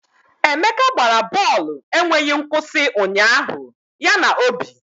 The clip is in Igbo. Emeka gbara bọọlụ enweghị nkwụsị ụnyaahụ ya na Obi